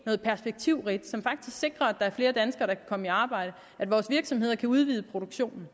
noget perspektivrigt som faktisk sikrer at flere danskere der kan komme i arbejde at vores virksomheder kan udvide produktionen